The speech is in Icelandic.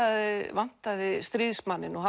vantaði stríðsmanninn og